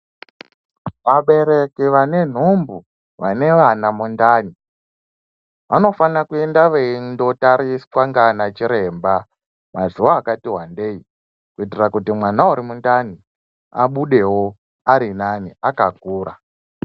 Vabereki vane nhumbu vane vana mundani vanofana kuenda veindotariswa ndianachiremba mazuwa akati wandei kuitira kuti mwana urimundani abudewo arinani akakura.